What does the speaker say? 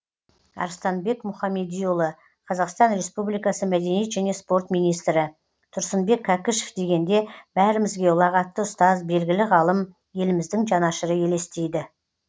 арыстанбек мұхамедиұлы қазақстан республикасы мәдениет және спорт министрі тұрсынбек кәкішев дегенде бәрімізге ұлағатты ұстаз белгілі ғалым еліміздің жанашыры елестейді